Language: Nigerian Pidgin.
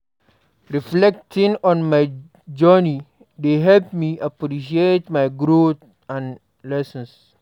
Reflecting on my journey dey help me appreciate my growth and lessons.